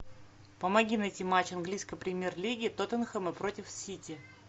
помоги найти матч английской премьер лиги тоттенхэма против сити